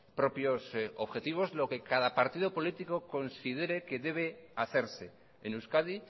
propios objetivos lo que cada partido político considere que debe hacerse en euskadi